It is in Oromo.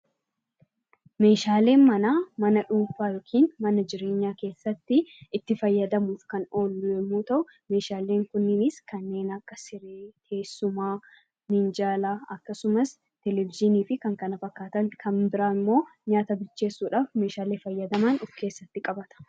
Meeshaaleen manaa mana dhuunfaa yookiin mana jireenyaa kessatti itti fayyadamuuf kan oolu yommuu ta'u, meeshaaleen kunniinis kanneen akka sibiila, teessuma, miinjala, televezyiinii fi kan kana fakkaatan kan biraan immoo nyaata bilcheesuudhaaf meeshaalee fayyadaman of keessatti qabata.